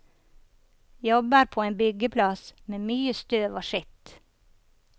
Jobber på en byggeplass med mye støv og skitt.